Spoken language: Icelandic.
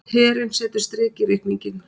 Herinn setur strik í reikninginn